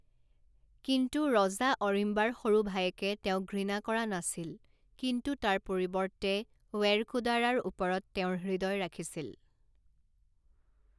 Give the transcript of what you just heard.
কিন্তু, ৰজা অৰিম্বাৰ সৰু ভায়েকে তেওঁক ঘৃণা কৰা নাছিল কিন্তু তাৰ পৰিৱৰ্তে ৱেৰকুদাৰাৰ ওপৰত তেওঁৰ হৃদয় ৰাখিছিল।